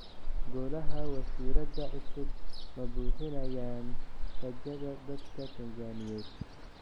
Golaha wasiirrada cusub ma buuxinayaan rajada dadka Tanzaniyeed?